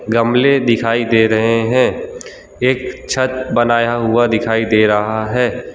गमले दिखाई दे रहे हैं एक छत बनाया हुआ दिखाई दे रहा है।